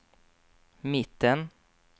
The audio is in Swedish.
mitten